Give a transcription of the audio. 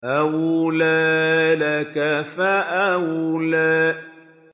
أَوْلَىٰ لَكَ فَأَوْلَىٰ